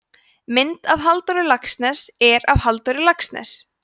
mynd af halldóri laxness er af halldór laxness